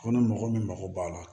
Ko ni mɔgɔ min mago b'a la